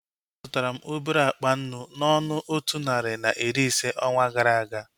A zụtara m obere akpa nnu n'ọnụ otu narị na iri ise onwa gara aga